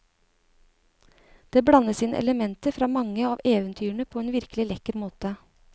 Det blandes inn elementer fra mange av eventyrene på en virkelig lekker måte.